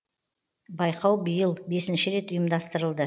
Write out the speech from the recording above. байқау биыл бесінші рет ұйымдастырылды